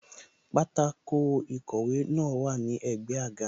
Pátákó ìkọ̀wé náà wà ní ẹ̀gbẹ́ àga